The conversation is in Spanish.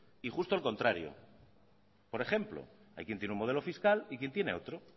y justo al contrario por ejemplo hay quien tiene un modelo fiscal y quien tiene otro